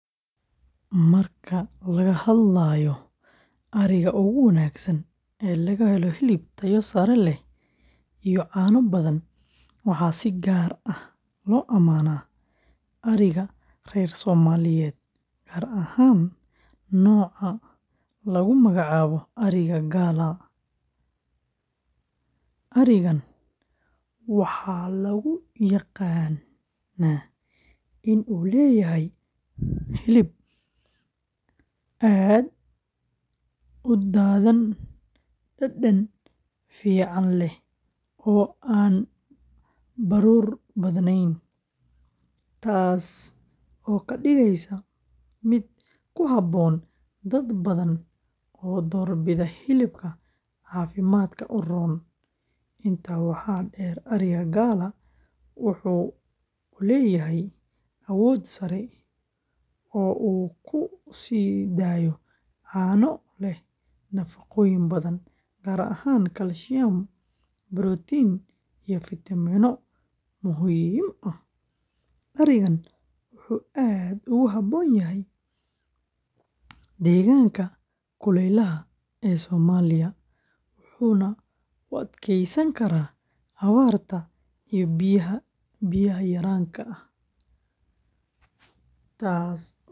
Marka laga hadlayo ariga ugu wanaagsan ee laga helo hilib tayo sare leh iyo caano badan, waxaa si gaar ah loo amaanaa ariga reer Somaliyeed gaar ahaan nooca lagu magacaabo. Arigan waxaa lagu yaqaan in uu leeyahay hilib aad u dhadhan fiican leh oo aan baruur badnayn, taas oo ka dhigeysa mid ku habboon dad badan oo doorbida hilibka caafimaadka u roon. Intaa waxaa dheer, ariga Galla wuxuu leeyahay awood sare oo uu ku sii daayo caano leh nafaqooyin badan, gaar ahaan kalsiyum, borotiin iyo fitamiinno muhiim ah. Arigan wuxuu aad ugu habboon yahay deegaanka kulaylaha ah ee Soomaaliya, wuxuuna u adkeysan karaa abaarta iyo biyaha yaraan, taas oo ka dhigaysa mid dhaqaale.